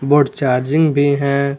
और चार्जिंग भी है।